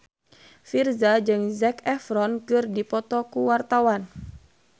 Virzha jeung Zac Efron keur dipoto ku wartawan